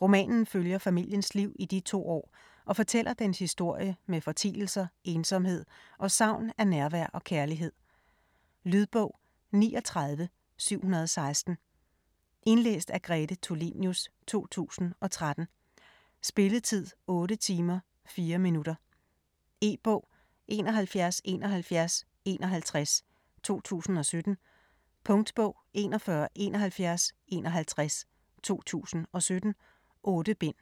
Romanen følger familiens liv i de to år og fortæller dens historie med fortielser, ensomhed og savn af nærvær og kærlighed. Lydbog 39716 Indlæst af Grete Tulinius, 2013. Spilletid: 8 timer, 4 minutter. E-bog 717151 2017. Punktbog 417151 2017. 8 bind.